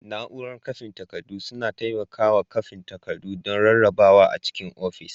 Nau'rar kwafin takardu suna taimakawa kwafin takardu don rarrabawa a cikin ofis.